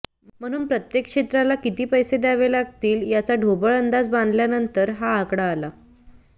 म्हणून प्रत्येक क्षेत्राला किती पैसे द्यावे लागतील याचा ढोबळ अंदाज बांधल्यानंतर हा आकडा आला